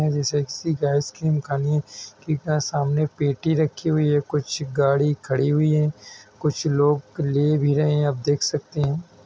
Guys ऐसा Activa की निम सामने पेटी रखी हुई है कुछ गाडी खड़ी हुयी हैं कुछ लोग ले भी रहे हैं आप देख भी सकते है।